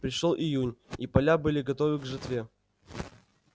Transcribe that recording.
пришёл июнь и поля были готовы к жатве